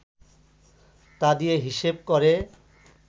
তা দিয়ে হিসেব করে